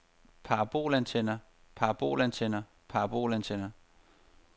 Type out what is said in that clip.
parabolantenner parabolantenner parabolantenner